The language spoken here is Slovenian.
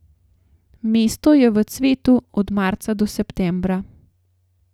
Mesto je v cvetu od marca do septembra.